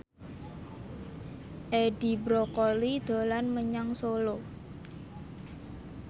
Edi Brokoli dolan menyang Solo